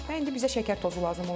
Və indi bizə şəkər tozu lazım olacaq.